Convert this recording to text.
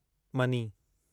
money